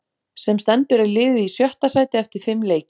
Sem stendur er liðið í sjötta sæti eftir fimm leiki.